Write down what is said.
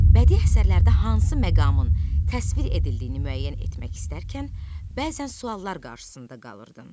Bədii əsərlərdə hansı məqamın təsvir edildiyini müəyyən etmək istərkən bəzən suallar qarşısında qalırdın.